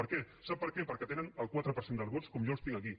per què sap per què perquè hi tenen el quatre per cent dels vots com jo els tinc aquí